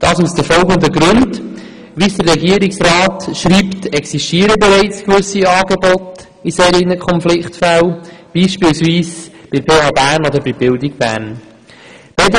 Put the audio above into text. Wie der Regierungsrat schreibt, existieren bereits gewisse Angebote für solche Konfliktfälle, beispielsweise bei der PHBern oder bei der Bildung Bern.